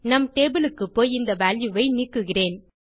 நம் டேபிள் க்குப்போய் இந்த வால்யூ ஐ நீக்குகிறேன்